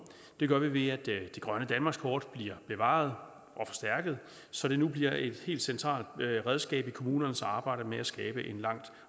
det gør vi ved at det grønne danmarkskort bliver bevaret og forstærket så det nu bliver et helt centralt redskab i kommunernes arbejde med at skabe en langt